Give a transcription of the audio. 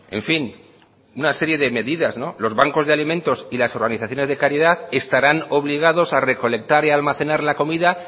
en fin una serie de medidas no los bancos de alimentos y las organizaciones de caridad estarán obligados a recolectar y almacenar la comida